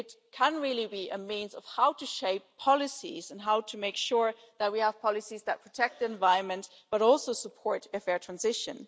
it can really be a means of how to shape policies and make sure that we have policies that protect the environment and support a fair transition.